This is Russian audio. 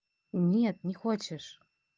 нет не хочешь